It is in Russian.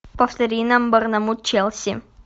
повтори нам борнмут челси